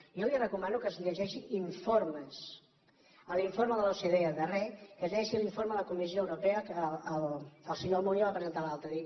jo li re·comano que es llegeixi informes l’informe de l’ocde darrer que es llegeixi l’informe a la comissió europea que el senyor almunia va presentar l’altre dia